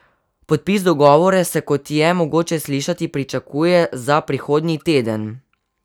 Podpis dogovora se, kot je mogoče slišati, pričakuje za prihodnji teden.